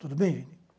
Tudo bem, Vini?